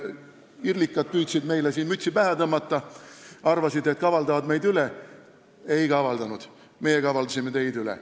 IRL-ikad püüdsid meile siin mütsi pähe tõmmata, arvasid, et kavaldavad meid üle, aga ei kavaldanud – meie kavaldasime neid üle.